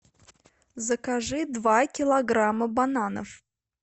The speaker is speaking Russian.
закажи два килограмма бананов